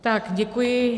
Tak děkuji.